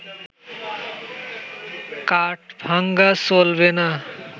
কাঠ ভাঙা চলবে না